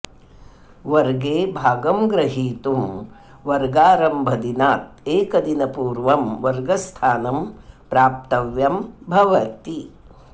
वर्गे भागं ग्रहीतुं वर्गारम्भदिनात् एकदिनपूर्वं वर्गस्थानं प्राप्तव्यं भवति